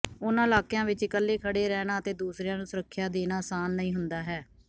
ਉਨ੍ਹਾਂ ਇਲਾਕਿਆਂ ਵਿੱਚ ਇਕੱਲੇ ਖੜ੍ਹੇ ਰਹਿਣਾ ਅਤੇ ਦੂਸਰਿਆਂ ਨੂੰ ਸੁਰੱਖਿਆ ਦੇਣਾ ਅਸਾਨ ਨਹੀਂ ਹੁੰਦਾ ਹੈ